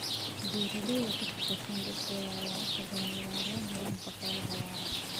Beeraleyda ka shaqeysa dhulkooda ayaa inta badan ilaaliya nidaamka xoolaha waara.